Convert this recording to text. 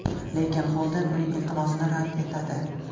Lekin Xolden uning iltimosini rad etadi.